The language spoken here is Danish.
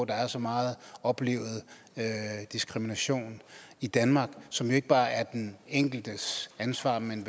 der er så meget oplevet diskrimination i danmark som jo ikke bare er den enkeltes ansvar men